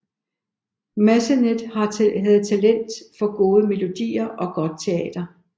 Massenet havde talent for gode melodier og godt teater